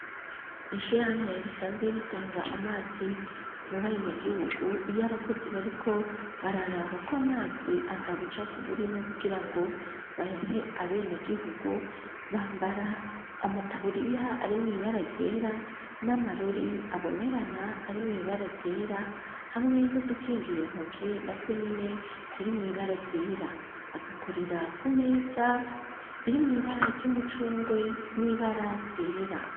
Mw'ishirahamwe bisanzwe ritanga amazi mu bene gihugu iyo abakozi bariko bararaba ko amazi ata bucapfu burimwo kugira ngo bayahe abene gihugu bambara amataburiya ari mw'ibara ryera n'amarori abonerana ari mw'ibara ryera hamwe dukingira intoki na twe nyene turi mw'ibara ryera bagakurira ku meza iri mw'ibara ry'umucungwe n'ibara ryera.